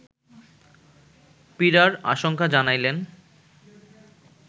পীড়ার আশঙ্কা জানাইলেন